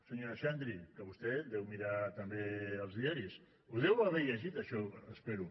senyora xandri que vostè deu mirar també els diaris ho deu haver llegit això espero